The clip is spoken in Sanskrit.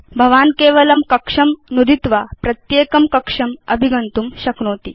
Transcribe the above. भवान् केवलं कक्षं नुदित्वा प्रत्येकं कक्षम् अभिगन्तुं शक्नोति